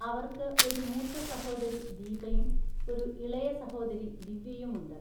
അവർക്ക് ഒരു മൂത്ത സഹോദരി ദീപയും ഒരു ഇളയ സഹോദരി ദിവ്യയുമുണ്ട്.